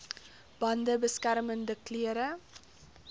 bande beskermende klere